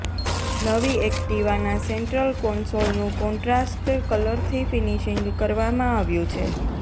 નવી એક્ટિવાના સેન્ટ્રલ કોન્સોલનું કોન્ટ્રાસ્ટ કલરથી ફિનિશિંગ કરવામાં આવ્યું છે